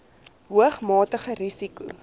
hoog matige risiko